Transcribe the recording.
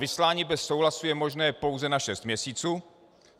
Vyslání bez souhlasu je možné pouze na šest měsíců.